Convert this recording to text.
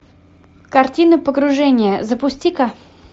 картина погружение запусти ка